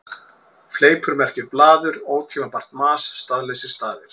Fleipur merkir blaður, ótímabært mas, staðlausir stafir.